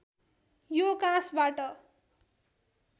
यो काँसबाट